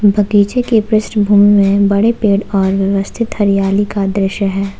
बगीचे के पृष्ठभूमि में बड़े पेड़ और व्यवस्थित हरियाली का दृश्य है ।